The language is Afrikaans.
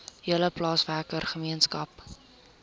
hele plaaswerker gemeenskap